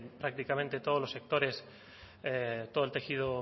prácticamente en todos los sectores todo el tejido